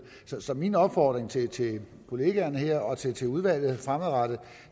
så min opfordring til til kollegaerne her og til til udvalget fremadrettet